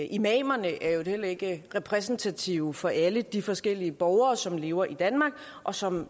imamerne er i øvrigt heller ikke repræsentative for alle de forskellige borgere som lever i danmark og som